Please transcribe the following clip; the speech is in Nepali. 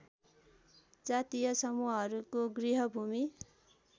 जातीय समूहहरूको गृहभूमि